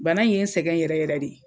Bana in ye n sɛgɛn yɛrɛ yɛrɛ de.